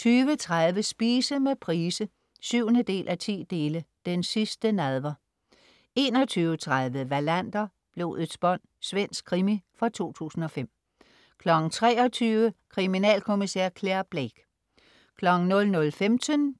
20.30 Spise med Price. 7:10 "Den sidste nadver" 21.30 Wallander: Blodets bånd. Svensk krimi fra 2005 23.00 Kriminalkommissær Clare Blake 00.15